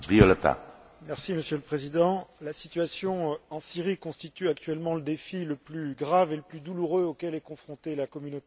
Monsieur le Président, la situation en Syrie constitue actuellement le défi le plus grave et le plus douloureux auquel est confrontée la communauté internationale.